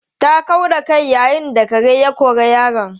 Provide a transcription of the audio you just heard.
Ta kau da kai yayin da kare ya kori yaron.